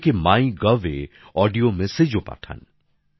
অনেকে মাইগভে অডিও মেসেজও পাঠান